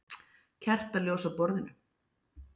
Kertaljós á borðinu.